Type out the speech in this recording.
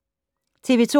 TV 2